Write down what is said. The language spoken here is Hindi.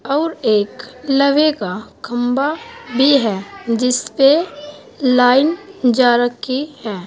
और एक लवे का खंभा भी है जिस पे लाइन जा रखी है।